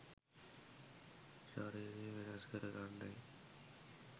ශරීරය වෙනස් කර ගන්නැයි